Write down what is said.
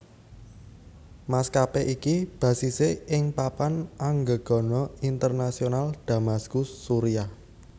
Maskapé iki basise ing Papan Anggegana Internasional Damaskus Suriah